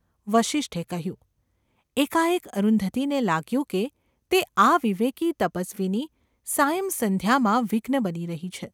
’ વસિષ્ઠે કહ્યું. એકાએક અરુંધતીને લાગ્યું કે તે આ વિવેકી તપસ્વીની સાયં-સંધ્યામાં વિઘ્ન બની રહી છે.